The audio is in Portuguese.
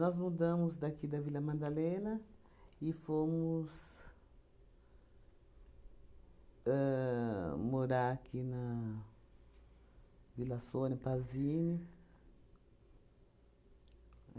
Nós mudamos daqui da Vila Madalena e fomos ahn morar aqui na Vila Sônia, Pazini.